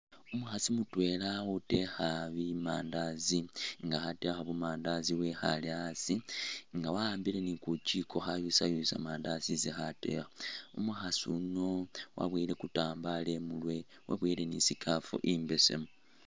Umukhaasi mutweela ali khuteekha bu mandaazi nga khateekha bumandaazi wekhaale asi nga waambile ni kujiko khayusayusa mandaazi isi khateekha umukhaasi uno waboyele kutambaalo imuurwe weboyele ni i’scarf imaali.